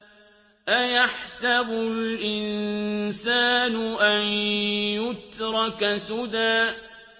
أَيَحْسَبُ الْإِنسَانُ أَن يُتْرَكَ سُدًى